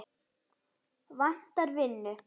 Vantar vinnu